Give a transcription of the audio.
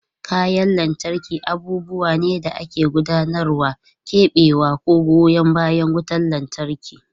Kayan lantarki abubuwa ne da ke gudanarwa, keɓewa, ko goyan bayan wutar lantarki.